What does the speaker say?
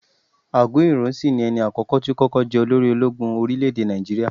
Agunyi Ironsi ni ẹni àkókò tó kọ́kọ́ jẹ olórí ológun orílẹ̀ èdè Nàìjíríà.